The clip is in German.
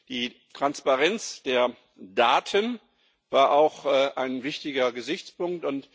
Die Transparenz der Daten war auch ein wichtiger Gesichtspunkt.